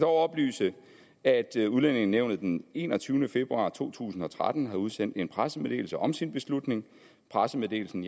oplyse at udlændingenævnet den enogtyvende februar to tusind og tretten har udsendt en pressemeddelelse om sin beslutning pressemeddelelsen